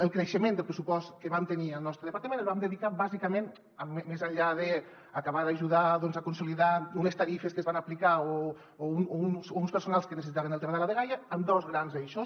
el creixement del pressupost que vam tenir al nostre departament el vam dedicar bàsicament més enllà d’acabar d’ajudar a consolidar unes tarifes que es van aplicar o uns personals que necessitaven el tema de la dgaia a dos grans eixos